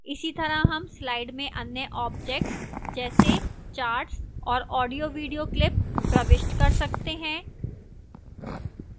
इसीतरह हम slide में अन्य objects जैसे charts और audiovideo clips प्रविष्ट कर सकते हैं